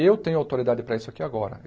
Eu tenho autoridade para isso aqui agora.